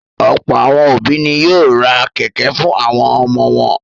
Ọ̀pọ̀ àwọn òbí ni yóò ra kẹ̀kẹ́ fún àwọn ọmọ wọn.